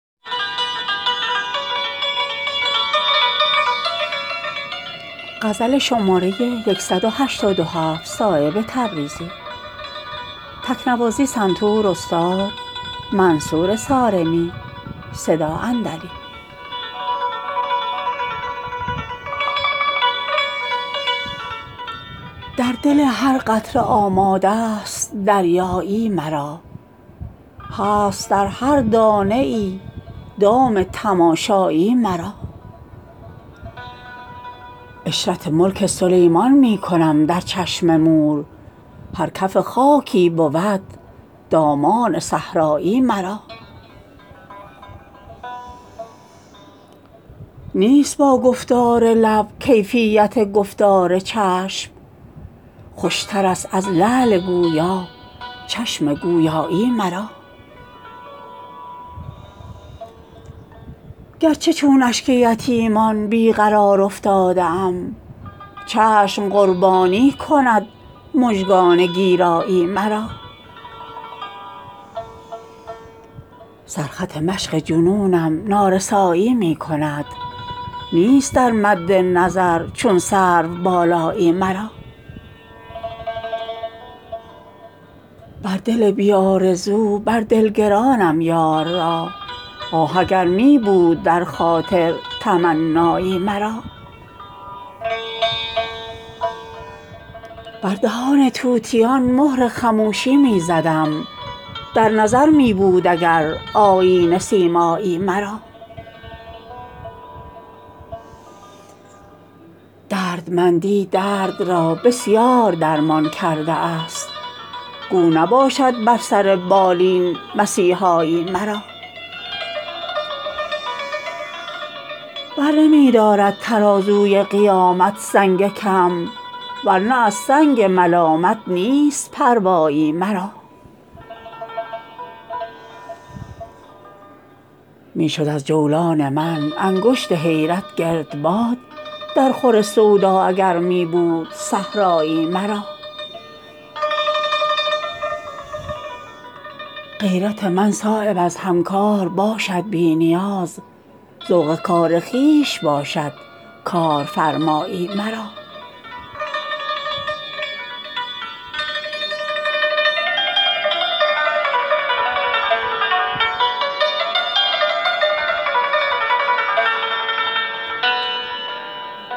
در دل هر قطره آماده است دریایی مرا هست در هر دانه ای دام تماشایی مرا عشرت ملک سلیمان می کنم در چشم مور هر کف خاکی بود دامان صحرایی مرا نیست با گفتار لب کیفیت گفتار چشم خوشترست از لعل گویا چشم گویایی مرا گرچه چون اشک یتیمان بی قرار افتاده ام چشم قربانی کند مژگان گیرایی مرا سر خط مشق جنونم نارسایی می کند نیست در مد نظر چون سرو بالایی مرا با دل بی آرزو بر دل گرانم یار را آه اگر می بود در خاطر تمنایی مرا با دل بی آرزو بر دل گرانم یار را آه اگر می بود در خاطر تمنایی مرا بر دهان طوطیان مهر خموشی می زدم در نظر می بود اگر آیینه سیمایی مرا دردمندی درد را بسیار درمان کرده است گو نباشد بر سر بالین مسیحایی مرا برنمی دارد ترازوی قیامت سنگ کم ورنه از سنگ ملامت نیست پروایی مرا می شد از جولان من انگشت حیرت گردباد در خور سودا اگر می بود صحرایی مرا غیرت من صایب از همکار باشد بی نیاز ذوق کار خویش باشد کارفرمایی مرا